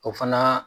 O fana